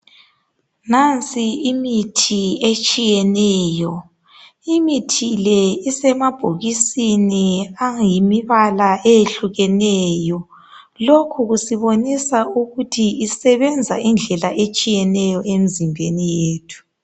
Nansi imithi etshiyeneyo. Imithi le isemabhokisini ayimibala ehlukeneyo. Lokhu isibonisa ukuthi isebenza ngedlela etshiyeneyo emzimbeni yethu.